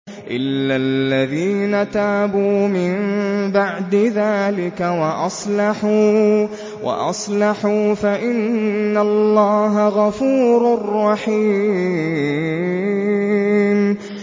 إِلَّا الَّذِينَ تَابُوا مِن بَعْدِ ذَٰلِكَ وَأَصْلَحُوا فَإِنَّ اللَّهَ غَفُورٌ رَّحِيمٌ